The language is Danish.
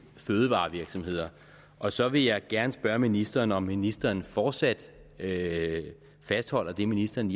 fødevarevirksomheder og så vil jeg gerne spørge ministeren om ministeren fortsat fastholder det ministeren